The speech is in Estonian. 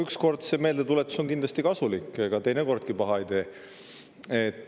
Üks kord on see meeldetuletus kindlasti kasulik, ega teine kordki paha ei tee.